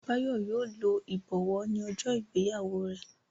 Bayo yíò ló ibọwọ ní ojó ìgbéyàwó rẹ.